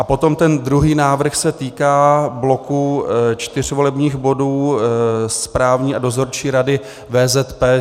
A potom ten druhý návrh se týká bloku čtyř volebních bodů, správní a dozorčí rady VZP.